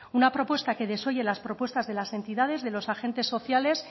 una propuesta que desoye las propuestas de las entidades de los agentes sociales